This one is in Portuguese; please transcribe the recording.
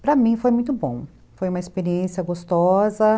Para mim foi muito bom, foi uma experiência gostosa.